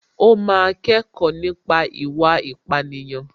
Ó máa kẹ́kọ̀ọ́ nípa ìwà ìpánìyàn